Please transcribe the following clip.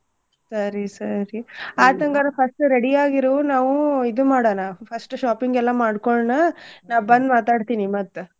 ಸರಿ ಸರಿ ಆತ ಅಂಗಾರ first ready ಆಗಿರು ನಾವು ಇದು ಮಾಡನಾ first shopping ಎಲ್ಲಾ ಮಾಡ್ಕೊಳ್ಳೊನ ನಾ ಬಂದ್ ಮಾತಾಡ್ತಿನಿ ಮತ್ತ.